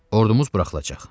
Ordumuz buraxılacaq.